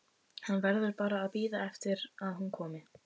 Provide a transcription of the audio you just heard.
Hann verður bara að bíða eftir að hún komi.